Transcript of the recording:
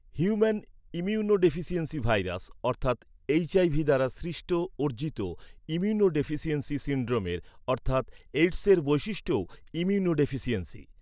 Human immunodeficiency virus অর্থাৎ HIV দ্বারা সৃষ্ট অর্জিত ইমিউনোডেফিসিয়েন্সি সিন্ড্রোমের অর্থাৎ এআইডিএস এর বৈশিষ্ট্যও ইমিউনোডেফিসিয়েন্সি।